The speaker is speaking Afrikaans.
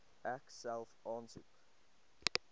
ek self aansoek